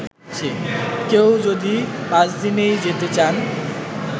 কেউ যদি পাঁচদিনই যেতে চান